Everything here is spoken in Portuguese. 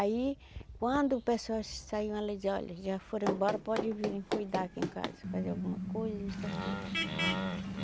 Aí, quando pessoas saíam, ela dizia, olha, já foram embora, pode vir cuidar aqui em casa, fazer alguma coisa, isso, aquilo.